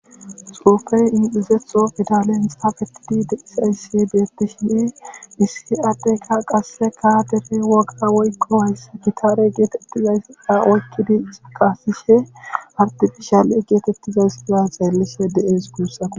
Xoofey indizetxo fidalenstafetidi deisayssi beetti shini issi addeyka qasse kaatefe woga woykkoaysse gitaare geetettizayssaa oykkidi qasishe hartifi shale geetettizaysla xayllishe de'ees guussako